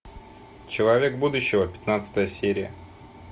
человек будущего пятнадцатая серия